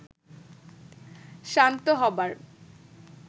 শান্ত হবার